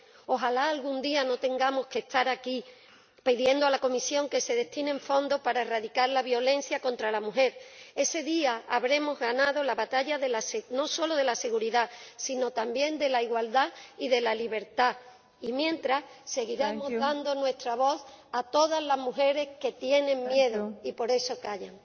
Ojalá algún día no tengamos que estar aquí pidiendo a la Comisión que se destinen fondos para erradicar la violencia contra la mujer. Ese día habremos ganado la batalla no solo de la seguridad, sino también de la igualdad y de la libertad, pero mientras seguiremos dando nuestra voz a todas las mujeres que tienen miedo y por eso callan.